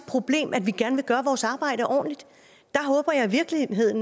problem at vi gerne vil gøre vores arbejde ordentligt